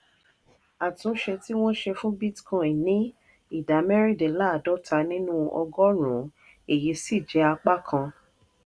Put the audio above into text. àtúnṣe tí wọ́n ṣe fún bitcoin ní ìdá mẹ́rìndínláàádọ́ta nínú ọgọ́rùn-ún èyí sì jẹ́ apá kan